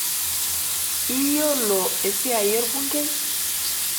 Iyiolo esia olbungei?